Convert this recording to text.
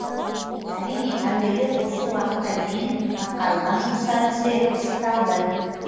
әрине әуелі осы уақытқа дейін атқарылған жұмыстар тізбегі пысықталды